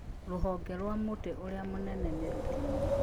Rũhonge rwa mũtĩ ũrĩa mũnene nĩrũtinie